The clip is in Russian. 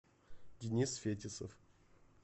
денис фетисов